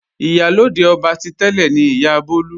Ìyálóde ọba ti tẹ́lẹ̀ ni Ìyá Bólú.